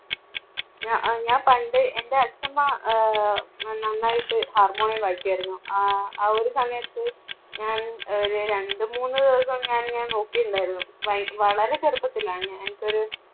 ഞാ~ഞാൻ പണ്ട് എൻറെ അച്ഛമ്മ ആഹ് ന~നന്നായിട്ട് harmonium യം വായിക്കുമായിരുന്നു. ആ ആ ഒരു സമയത്ത് ഞാൻ അഹ് രണ്ടു മൂന്നു ദിവസം ഞാൻ, ഞാൻ നോക്കിയിട്ടുണ്ടായിരുന്നു വ~വളരെ ചെറുപ്പത്തിലാണ് ഞാൻ ഇപ്പം ഒരു